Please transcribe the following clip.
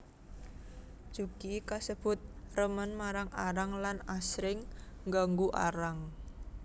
Jugi kasebut remen marang Arang lan asring nganggu Arang